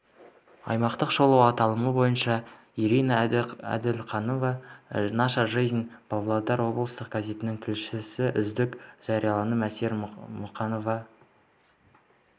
аймақтық шолу аталымы бойынша ирина әділқанова наша жизнь павлодар облыстық газетінің тілшісі үздік жарияланым әсел мұқанова